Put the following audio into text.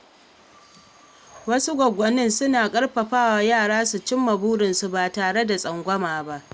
Wasu goggoni suna ƙarfafa yara su cimma burinsu, ba tare da tsangwama ba.